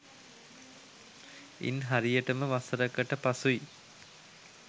ඉන් හරියටම වසර කට පසුයි